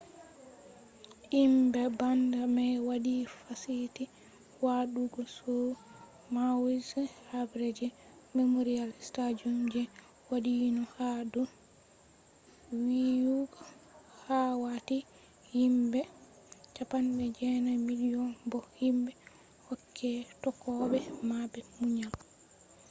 himbe band mai wadi fasiti wadugo show maui’s habre je memorial stadium je wadino ha do viyugo wakkati himbe 9,000 bo himbe hokke tokkobe mabbe munyal